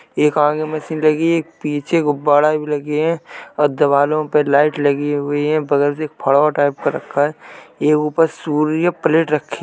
एक आगे मशीन लगी है। एक पीछे गुबाड़े भी लगे हैं और दिवलों पे लाइट लगी हुई है बगल में फोड़वा टाइप का रखा है। एक ऊपर सूर्य प्लेट रखी --